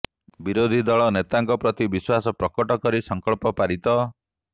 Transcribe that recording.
ବିରୋଧୀ ଦଳ ନେତାଙ୍କ ପ୍ରତି ବିଶ୍ୱାସ ପ୍ରକଟ କରି ସଂକଳ୍ପ ପାରିତ